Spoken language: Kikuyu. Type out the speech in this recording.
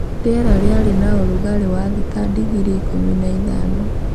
Rĩera rĩarĩ na ũrugarĩ wa thĩ ta digrii ikũmi na ithano